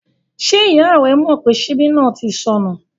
Ṣé ìyá rẹ mọ̀ pé ṣíbí náà ti sọnú?